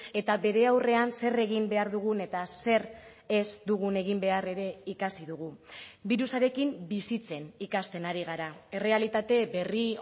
eta bere aurrean zer egin behar dugun eta zer ez dugun egin behar ere ikasi dugu birusarekin bizitzen ikasten ari gara errealitate berri